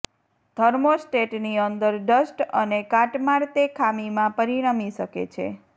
થર્મોસ્ટેટની અંદર ડસ્ટ અને કાટમાળ તે ખામીમાં પરિણમી શકે છે